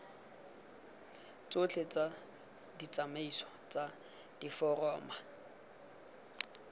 tsotlhe tsa ditsamaiso tsa diforamo